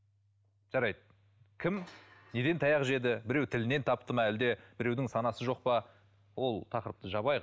жарайды кім неден таяқ жеді біреуі тілінен тапты ма әлде біреудің саңасы жоқ па ол тақырыпты жабайық